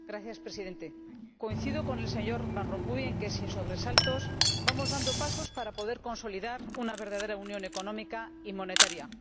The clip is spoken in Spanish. Señor Presidente, coincido con el señor Van Rompuy en que, sin sobresaltos, vamos dando pasos para poder consolidar una verdadera unión económica y monetaria.